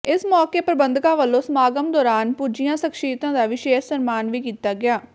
ਇਸ ਮੌਕੇ ਪ੍ਰਬੰਧਕਾਂ ਵਲੋਂ ਸਮਾਗਮ ਦੌਰਾਨ ਪੁੱਜੀਆ ਸਖ਼ਸ਼ੀਅਤਾਂ ਦਾ ਵਿਸ਼ੇਸ਼ ਸਨਮਾਨ ਵੀ ਕੀਤਾ ਗਿਆ